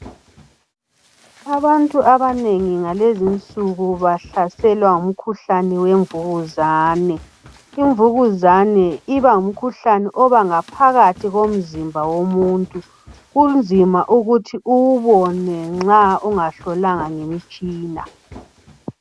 Abantu abanengi ngalezi insuku bahlaselwa ngumkhuhlane wemvukuzane. Imvukuzane iba ngumkhuhlane obangaphakathi komzimba womuntu, kunzima ukuthi uwubone nxa ungahlolwanga ngemitshina.